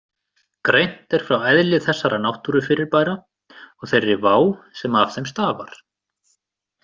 Greint er frá eðli þessara náttúrufyrirbæra og þeirri vá sem af þeim stafar.